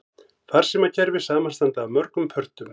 Farsímakerfi samanstanda af mörgum pörtum.